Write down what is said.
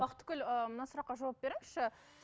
бақытгүл ыыы мына сұраққа жауап беріңізші